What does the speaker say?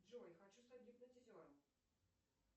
джой хочу стать гипнотизером